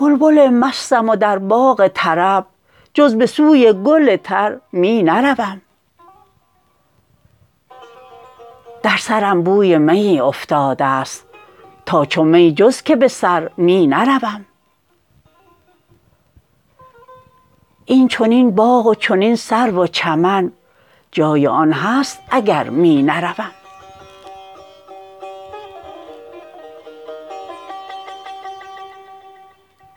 بلبل مستم و در باغ طرب جز به سوی گل تر می نروم در سرم بوی میی افتاده ست تا چو می جز که به سر می نروم این چنین باغ و چنین سرو و چمن جای آن هست اگر می نروم